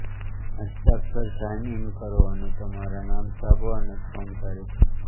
હસ્તાક્ષર sign in કરો અને તમારા નામ છાપો અને ફોર્મ તારીખ